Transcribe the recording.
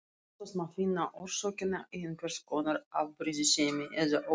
Oftast má finna orsökina í einhvers konar afbrýðisemi eða öfund.